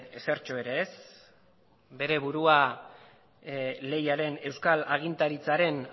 ezertxo ere ez bere burua lehiaren euskal agintaritzaren